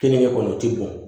Kenige kɔni o ti bɔn